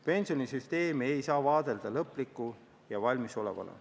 Pensionisüsteemi ei saa vaadelda lõpliku ja valmisolevana.